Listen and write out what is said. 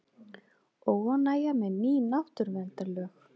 Óánægja með ný náttúruverndarlög